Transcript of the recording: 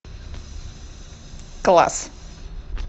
класс